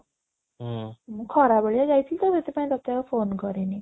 ମୁଁ ଖରା ବେଳିଆ ଯାଇଥିଲି ତ ସେଇଥିପାଇଁ ତୋତେ ଆଉ phone କରିନି